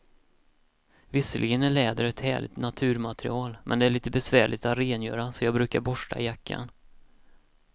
Visserligen är läder ett härligt naturmaterial, men det är lite besvärligt att rengöra, så jag brukar borsta jackan.